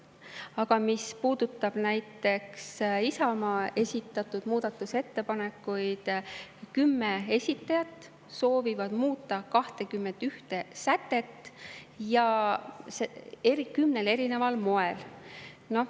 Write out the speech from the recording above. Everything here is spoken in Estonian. Aga mis puudutab näiteks Isamaa esitatud muudatusettepanekuid, siis kümme esitajat soovivad muuta 21 sätet ja kümnel erineval moel.